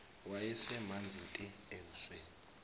wayesemanzi te ebusweni